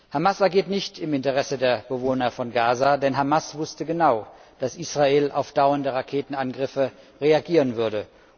Hamas agiert nicht im Interesse der Bewohner von Gaza, denn Hamas wusste genau, dass Israel auf dauernde Raketenangriffe reagieren würde.